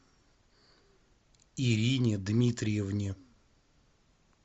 ирине дмитриевне